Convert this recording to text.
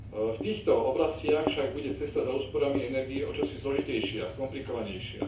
V týchto oblastiach však bude cesta za úsporami energie o niečo zložitejšia, komplikovanejšia.